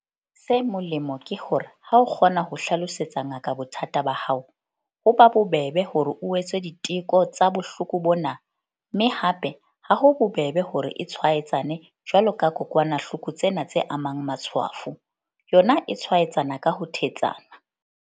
Se molemo ke hore ha o kgona ho hlalosetsa ngaka bothata ba hao, ho ba bobebe hore o etswe diteko tsa bohloko bona mme hape ha ho bobebe hore e tshwaetsane jwalo ka kokwanahloko tsena tse amang matshwafo, yona e tshwaetsana ka ho thetsana.